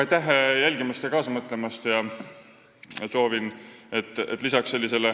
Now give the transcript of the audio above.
Aitäh jälgimast ja kaasa mõtlemast!